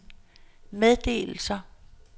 meddelelser